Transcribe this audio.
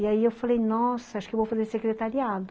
E aí eu falei, nossa, acho que eu vou fazer secretariado.